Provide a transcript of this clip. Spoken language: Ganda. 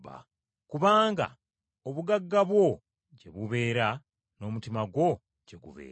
Kubanga obugagga bwo gye buli n’omutima gwo gye gunaabeeranga.”